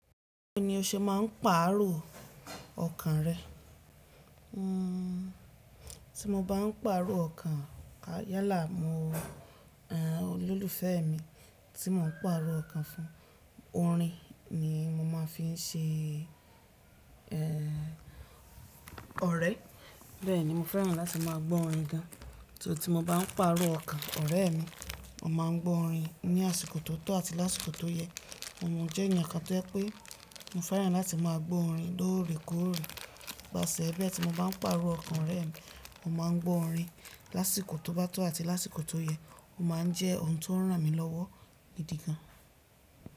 Bí ni o ṣe máà ń pàrọ̀ ọkàn rẹ? Hmm, tí mo bá ń pàrọ̀ ọkàn, yálà olólùfẹ́ mi tí mò ń pàrọ̀ ọkàn fún, orin ni mo máa ń fi ṣe ẹ́ ọ̀rẹ́. Bẹ́ẹ̀ ni mo fẹ́ràn láti máa gbọ́ orin gan. Ìṣó tí mo bá ń pàrọ̀ ọkàn ọ̀rẹ́ mi, mo máa ń gbọ́ orin ní àsìkò tó tọ́ àti lásìkò tó yẹ. Mo jẹ́ ènìyàn kan tó pé mo fẹ́ràn láti máa gbọ́ orin lóore kóóre. Nípasẹ̀ ẹ́ bí ẹ́ tí mo bá ń pàrọ̀ ọkàn ọ̀rẹ́ mi, mo máa ń gbọ́ orin lásìkò tó bá tọ́ àti lásìkò tó yẹ. Ó máa ń jẹ́ ohun tó ń ràn mí lọ́wọ́ gidi gan.